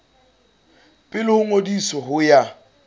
pele ho ngodiso ho ya